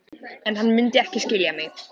En hann mundi ekki skilja mig.